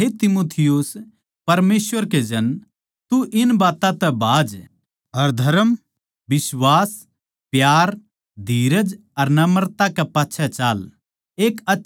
पर हे तीमुथियुस परमेसवर के जन तू इन बात्तां तै भाज अर धरम बिश्वास प्यार धीरज अर नम्रता कै पिच्छा चाल